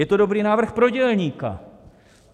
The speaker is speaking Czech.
Je to dobrý návrh pro dělníka.